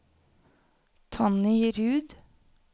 Tonny Ruud